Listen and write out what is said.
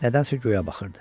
Nədənsə göyə baxırdı.